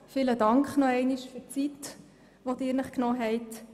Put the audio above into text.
Vielen Dank noch einmal für die Zeit, die Sie sich genommen haben, Herr Schnegg.